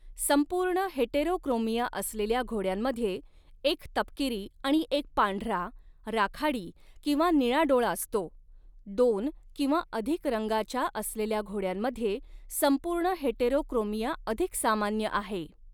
संपूर्ण हेटेरोक्रोमिया असलेल्या घोड्यांमध्ये एक तपकिरी आणि एक पांढरा, राखाडी किंवा निळा डोळा असतो, दोन किंवा अधिक रंगाच्या असलेल्या घोड्यांमध्ये संपूर्ण हेटेरोक्रोमिया अधिक सामान्य आहे.